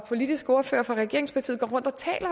politiske ordfører for regeringspartiet går rundt